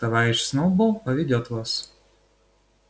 товарищ сноуболл поведёт вас